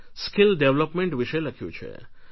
skill development વિશે લખ્યું છે